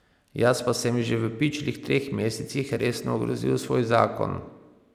Jaz pa sem že v pičlih treh mesecih resno ogrozil svoj zakon.